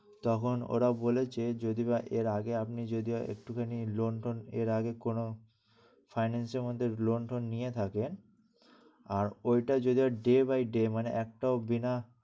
যখন ওরা বলেছে যদি এর আগে আপনি যদি একটু খানি loan টোন এর আগে কোন finance এর মধ্যে loan টোন নিয়ে থাকে আর ওইটা যদি day by day মানে একটাও বিনা